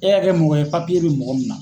E ka kɛ mɔgɔ ye bɛ mɔgɔ min na.